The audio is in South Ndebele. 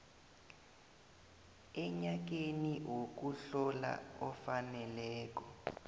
enyakeni wokuhlola ofaneleko